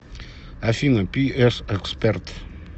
афина пи эс эксперт